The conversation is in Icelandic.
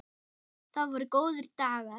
Það voru góðir dagar.